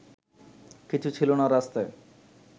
কিছু ছিল না রাস্তায়